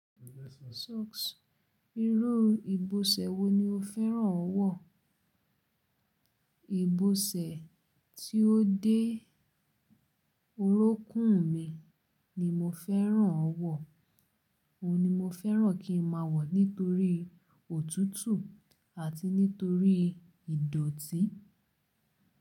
Socks, irú ìbọ̀sẹ̀ wo ni o fẹ́ràn wọ̀? Ìbọ̀sẹ̀ tí ó dé orukún mi ni mo fẹ́ràn wọ̀. Òhun ni mo fẹ́ràn kí n máa wọ̀ nítorí òtútù àti nítorí ìdọ̀tí.